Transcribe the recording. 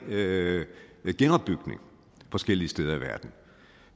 med genopbygning forskellige steder i verden